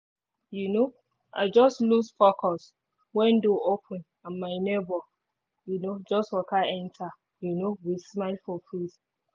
um i just loose focus when door open and my neighbor um just waka enter um with smile for face